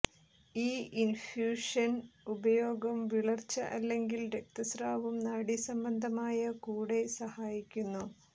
ഈ ഇൻഫ്യൂഷൻ ഉപയോഗം വിളർച്ച അല്ലെങ്കിൽ രക്തസ്രാവം നാഡീസംബന്ധമായ കൂടെ സഹായിക്കുന്നു